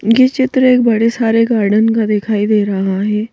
ये चित्र एक बड़े सारे गार्डन का दिखाई दे रहा है ।